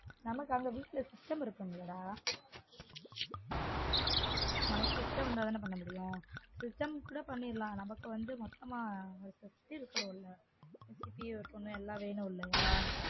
நமக்கு அவனுக்கு வீட்ல system இருக்குமில்லடா நமக்கு system இருந்தாதானே பண்ணமுடியும் system கூட பண்ணிடலாம் நமக்கு வந்து மொத்தமா CPU இருக்கனும்ல CPU இருக்கனும் எல்லாம் வேணும் இல்லையா